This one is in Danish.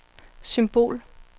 symbol